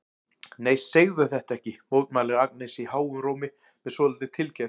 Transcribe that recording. Nei, segðu þetta ekki, mótmælir Agnes háum rómi með svolítilli tilgerð.